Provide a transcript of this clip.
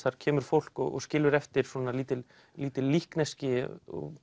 þar kemur fólk og skilur eftir lítil lítil líkneski